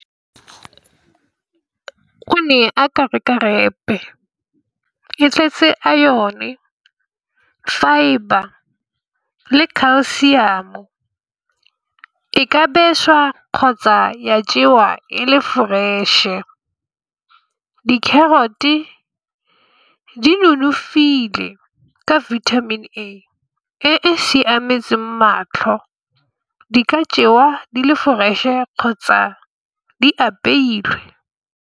O ne aka reka wrap-e e tletse a iron, fibre le calcium-o e ka beswa kgotsa ya jewa e le fresh e di-carrot-e di nonofile ka vitamin A e siametseng matlho di ka jewa di le fresh-e kgotsa di apeilwe.